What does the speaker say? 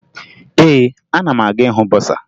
Ee, ana m aga ịhụ bọsaa